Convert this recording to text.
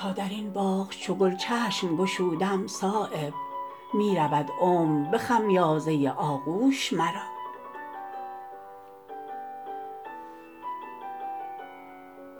تا درین باغ چو گل چشم گشودم صایب می رود عمر به خمیازه آغوش مرا